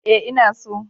Ee, ina so